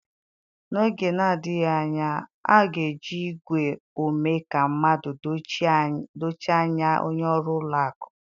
N'oge na-adịghị anya, a ga-eji igwe ome ka mmadụ dochie anya onye ọrụ ụlọ akụ.